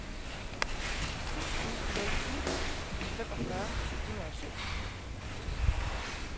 syv ni nul ni femogfyrre syv hundrede og syv